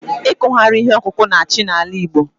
Ikughari ihe ọkụkụ na-achị n'ala Igbo